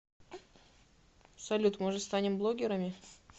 салют может станем блогерами